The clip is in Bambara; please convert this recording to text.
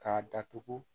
K'a datugu